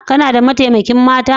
Kuna da mataimakan mata?